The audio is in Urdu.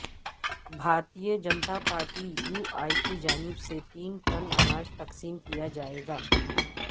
بھارتیہ جنتا پارٹی یو ا کی جانب سے تین ٹن اناج تقسیم کیا جائیگا